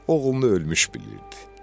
Oğlunu ölmüş bilirdi.